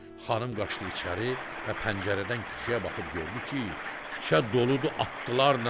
Xanım qaçdı içəri və pəncərədən küçəyə baxıb gördü ki, küçə doludu atlılarla.